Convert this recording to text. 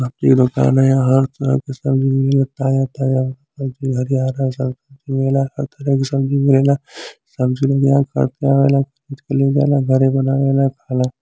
इ सब्जी के दुकान ह यहां हर तरह के सब्जी मिलेला ताजा ताजा खरीद के ले जाला घरे बनावेला खाला |